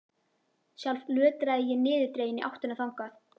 Sjálf lötraði ég niðurdregin í áttina þangað.